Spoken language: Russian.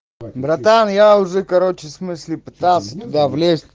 братан я уже короче в смысле пытался туда влезть